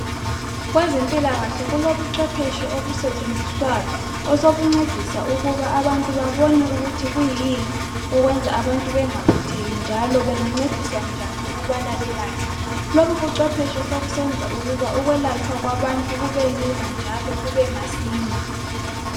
Kwezempilakahle kulobucwephetshe obusetshenziswayo osobuncedisa ukiba abantu bebone ukuthi kuyini bengaphatheki njalo bengancediswa njani ukuthi belatshwe lobubucwephetshe sokusenza ukuba ukulatshwa kwabantu kube lula njalo kube masinya